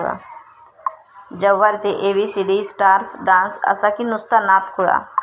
जव्हारचे 'ABCD' starrers, dance असा की नुसता नाद खुळा!